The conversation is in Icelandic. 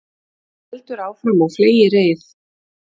Það heldur áfram á fleygiferð